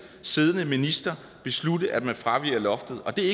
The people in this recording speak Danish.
siddende minister beslutte at man fraviger loftet og det er